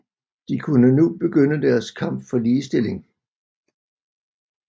De kunne nu begynde deres kamp for ligestilling